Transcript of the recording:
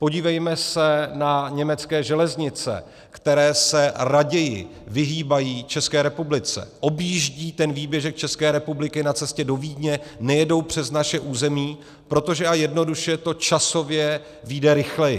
Podívejme se na německé železnice, které se raději vyhýbají České republice, objíždí ten výběžek České republiky na cestě do Vídně, nejedou přes naše území, protože a jednoduše to časově vyjde rychleji.